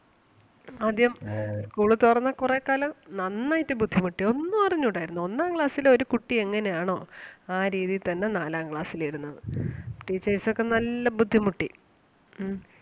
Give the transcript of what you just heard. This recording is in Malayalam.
ആദ്യം school തുറന്ന് കുറേ കാലം നന്നായിട്ട് ബുദ്ധിമുട്ടി ഒന്നും അറിഞ്ഞൂടാരുന്നു. ഒന്നാം class ലെ ഒരു കുട്ടി എങ്ങനെ ആണോ ആ രീതിയിൽ തന്നെ നാലാം class ലും ഇരുന്നത്. teachers ഒക്കെ നല്ല ബുദ്ധിമുട്ടി. ഉം